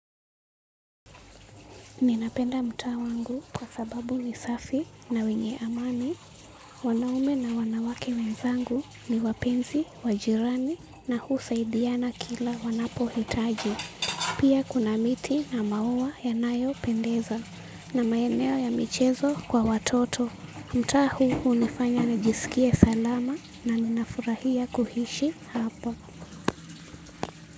Ninapenda mtaa wangu kwa sababu ni safi na wenye amani. Wanaume na wanawake wenzangu ni wapenzi, wa jirani na husaidiana kila wanapo hitaji. Pia kuna miti na maua yanayo pendeza na maeneo ya michezo kwa watoto. Mtaa huu hunifanya nijisikie salama na ninafurahia kuhishi hapa.